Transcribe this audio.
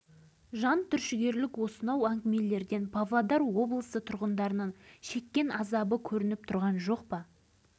дәрігерлер балаңыздың бойы полигонның әсерінен өспей қалған деп отыр дейді қария тағдырдың салғынына мойын сұнғандай кейіп танытып